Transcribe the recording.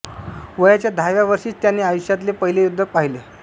वयाच्या दहाव्या वर्षीच त्याने आयुष्यातले पहीले युद्ध पाहिले